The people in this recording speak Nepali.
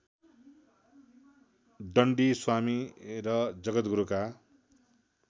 दण्डी स्वामी र जगद्गुरुका